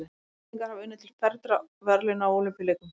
Íslendingar hafa unnið til fernra verðlauna á Ólympíuleikum.